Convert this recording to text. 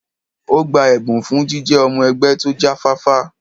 Ó gba ẹ̀bùn fún jíjẹ́ ọmọ-ẹgbẹ́ tó jáfáfá.